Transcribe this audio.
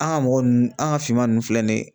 An ka mɔgɔ ninnu, an ka finman ninnu filɛ ni ye